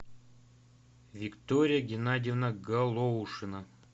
виктория геннадьевна голоушина